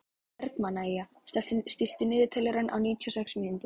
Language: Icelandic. Bergmannía, stilltu niðurteljara á níutíu og sex mínútur.